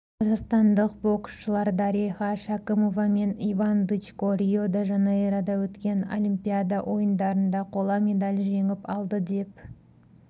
қазақстандық боксшылар дариға шәкімова мен иван дычко рио-де-жанейрода өткен олимпиада ойындарында қола медаль жеңіп алды деп